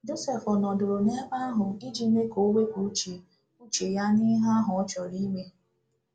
Josef ọ̀ nọdụrụ n’ebe ahụ iji mee ka ọ wepụ uche uche ya n'ihe ahụ ọ chọrọ ime?